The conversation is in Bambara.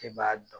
E b'a dɔn